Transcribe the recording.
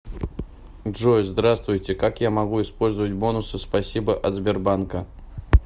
джой здравствуйте как я могу использовать бонусы спасибо от сбербанка